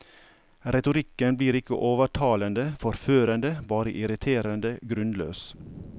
Retorikken blir ikke overtalende, forførende, bare irriterende grunnløs.